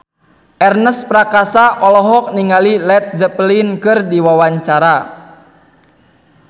Ernest Prakasa olohok ningali Led Zeppelin keur diwawancara